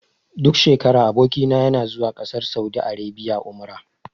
Duk shekara aboki na yana zuwa ƙasar saudi arabia umra.